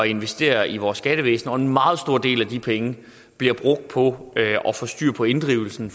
investere i vores skattevæsen og en meget stor del af de penge bliver brugt på at få styr på inddrivelsen